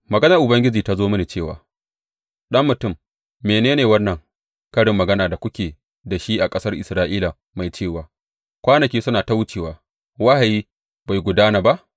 Maganar Ubangiji ta zo mini cewa, Ɗan mutum, mene ne wannan karin magana da kuke da shi a ƙasar Isra’ila mai cewa, Kwanaki suna ta wucewa, wahayi bai gudana ba’?